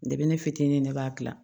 Debe ne fitinin ne b'a gilan